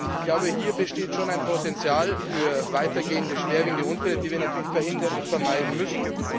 Ich glaube, hier besteht schon ein Potenzial für weitergehende schwerwiegende Unfälle, die wir natürlich verhindern und vermeiden müssen.